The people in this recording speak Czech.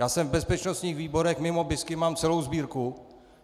Já jsem v bezpečnostních výborech, mimo bisky mám celou sbírku.